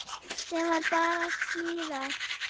Svo var bara smíðað.